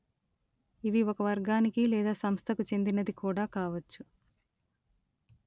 ఇవి ఒక వర్గానికి లేదా సంస్థకు చెందినది కూడా కావచ్చు